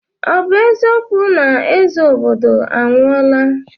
Ọ bụ eziokwu na eze obodo anwụọla?